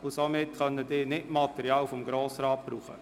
Diese kann das Material des Grossen Rats nicht gebrauchen.